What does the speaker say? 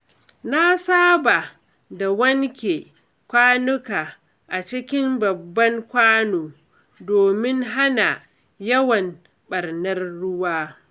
Na saba da wanke kwanuka a cikin babban kwano domin hana yawan ɓarnar ruwa.